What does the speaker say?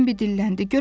Bembi dilləndi.